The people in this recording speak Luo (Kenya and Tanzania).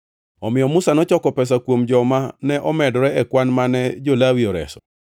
Omiyo Musa nochoko pesa kuom joma ne omedore e kwan mane jo-Lawi oreso.